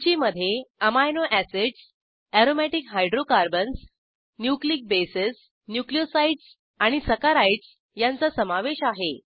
सूचीमधे amino acids aromatic hydrocarbons nucleic bases nucleosides आणि saccharides यांचा समावेश आहे